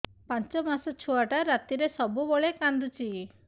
ପାଞ୍ଚ ମାସ ଛୁଆଟା ରାତିରେ ସବୁବେଳେ କାନ୍ଦୁଚି